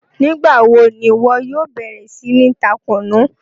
Nígba wo ni iwọ yóò bẹ̀rẹ̀ sí ni tá Kunú?